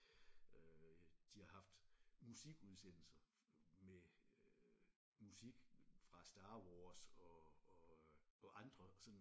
Øh de har haft musikudsendelser med øh musik fra Star Wars og og og andre sådan